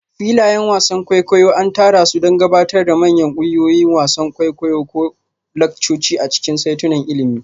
Filayen wasan kwaikwayo an tsara su don gabatar da manyan ƙungiyoyi, wasan kwaikwayo ko laccoci a cikin saitunan ilimi.